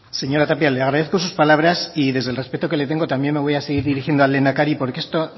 señora tapia le agradezco sus palabras y desde el respeto que le tengo también me voy a seguir dirigiendo al lehendakari porque esto